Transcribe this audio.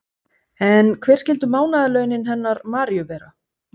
En hver skyldu mánaðarlaunin hennar Maríu vera?